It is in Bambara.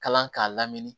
Kalan k'a lamini